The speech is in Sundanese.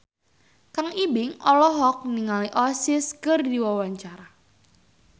Kang Ibing olohok ningali Oasis keur diwawancara